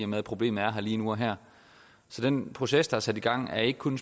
med at problemet er der lige nu og her så den proces der er sat i gang er ikke kun